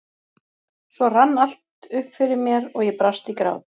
Svo rann allt upp fyrir mér og ég brast í grát.